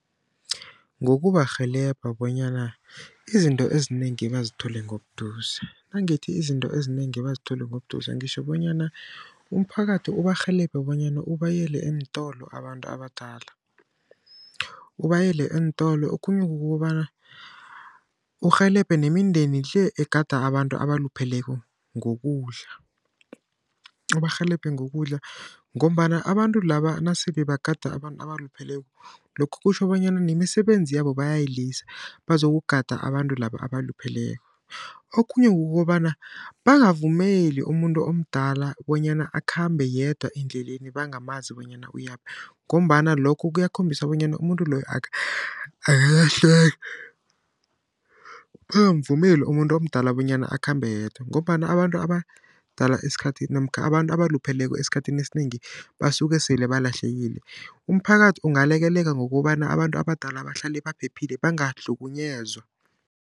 Ngokubarhelebha bonyana izinto ezinengi bazithole ngobuduze. Nangithi izinto ezinengi bazithole ngobuduze, ngitjho bonyana umphakathi ubarhelebhe bonyana ubayele eentolo abantu abadala, ubayele eentolo. Okhunye kukobana urhelebhe nemindeni le egada abantu abalupheleko ngokudla. Ubarhelebhe ngokudla ngombana abantu laba nasele bagada abantu abalupheleko lokho kutjho bonyana nemisebenzi yabo bayayilisa bazokugada abantu laba abalupheleko. Okhunye kukobana bangavumeli umuntu omdala bonyana akhambe yedwa endleleni bangamanzi bonyana uyaphi ngombana lokho kuyakhombisa bonyana umuntu loyo bangamvumeli umuntu omdala bonyana akhambe yedwa. Ngombana abantu abadala esikhathini namkha abantu abalupheleko esikhathini esinengi basuke sele balahlekile. Umphakathi ungalekelela ngokobana abantu abadala bahlale baphephile, bangahlukunyezwa.